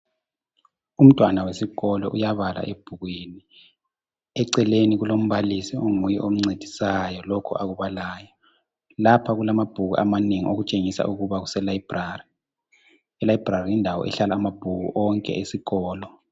Umntwana wesikolo uyabala ebhukwini eceleni kulombalisi onguye omncedisayo lokhu akubalayo lapha kulamabhuku amanengi okutshengisa ukuba kuse library e library yindawo ehlala amabhuku onke esikolo